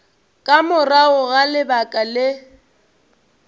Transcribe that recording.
ka morago ga lebaka le